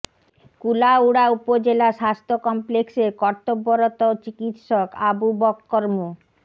কুলাউড়া উপজেলা স্বাস্থ্য কমপ্লেক্সের কর্তব্যরত চিকিৎসক আবু বক্কর মো